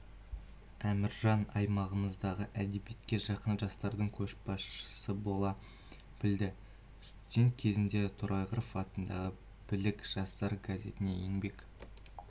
әміржан аймағымыздағы әдебиетке жақын жастардың көшбасшысы бола білді студент кезінде торайғыров атындағы білік жастар газетінде еңбек